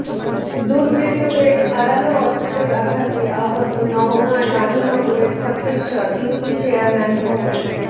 দুর্বৃত্তদের ধারালো অস্ত্রের আঘাতে আহত নওগাঁর রানীনগরের খট্টেশ্বর ইউপি চেয়ারম্যান মো